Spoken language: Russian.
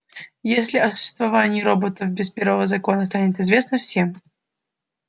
если о существовании роботов без первого закона станет известно всем